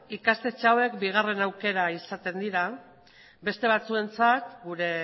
ikastetxe hauek bigarren aukera izaten da beste batzuentzat gure